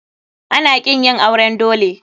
Ana kan yin auren dole.